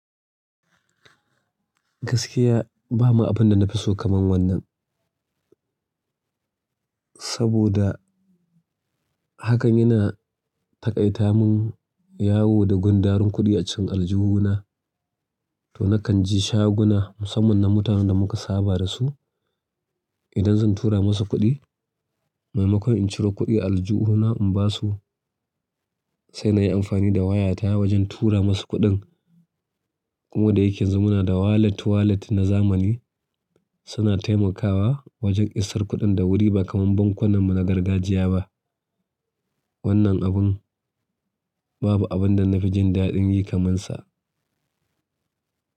Gaskiya ba mu abin da na fi so kamar wannan. Saboda hakan yana taƙaita mun yawo da gundarun kuɗi a cikin aljihuna to na kan je shaguna musamman na mutanen da muka saba da su. Idan zan tura musu kuɗi maimakon in ciro kuɗi a aljihuna in basu sai na yi amfani da wayata wajen tura musu kuɗin. Kuma da yake yanzu muna da walet walet na zamani suna taimakawa wajen isar kuɗin da wuri ba kamar bankunan mu na gargajiya ba. Wannan abun, babu abun da gan ji dadin yi kamar sa.